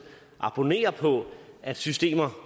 abonnerer på at systemer